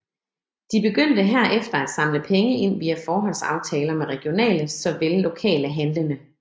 De begyndte herefter at samle penge ind via forhåndsaftaler med regionale såvel lokale handlende